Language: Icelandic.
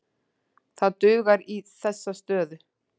Það dugar í þessa stöðu.